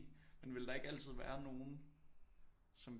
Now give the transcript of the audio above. Men vil der ikke altid være nogen som